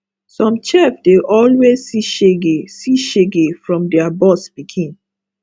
some chef dey always see shege see shege from their boss pikin